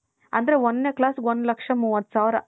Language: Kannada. ಆದ್ರೆ ಒಂದನೇ class ಗೆ ಒಂದ್ ಲಕ್ಷ ಮೂವತ್ ಸಾವಿರ .